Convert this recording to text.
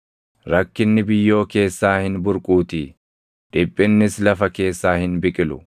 Rakkinni biyyoo keessaa hin burquutii; dhiphinnis lafa keessaa hin biqilu.